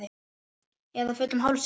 Eða fullum hálsi?